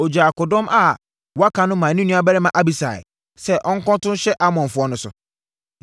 Ɔgyaa akodɔm a wɔaka no maa ne nuabarima Abisai sɛ ɔnkɔto nhyɛ Amonfoɔ no so.